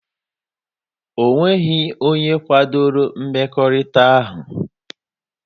O nweghị onye kwadoro mmekọrịta ha.